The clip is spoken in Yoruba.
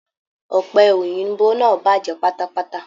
Ọ̀pẹ̀ Òyìnbó náà bàjẹ́ pátápátá.